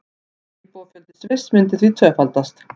Íbúafjöldi Sviss myndi því tvöfaldast